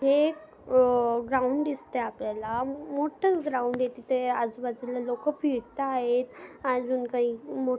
हे एक अ ग्राउंड दिसतय आपल्याला मोठ ग्राउंड आहे तिथे आजूबाजूला तिथे लोक फिरतायेत अजुन काही मो--